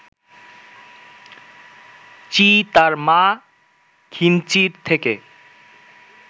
চি তার মা খিন চির থেকে